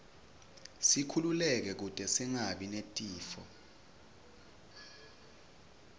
sikhululeke kute singabi netifo